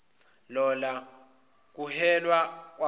lola kuhelwa kwakhoi